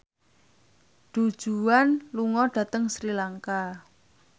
Du Juan lunga dhateng Sri Lanka